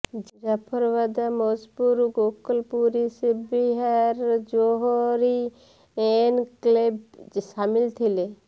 Jafrabad Maujpur Gokalpuri Shiv Vihar Johri enclave ସାମିଲ ଥିଲେ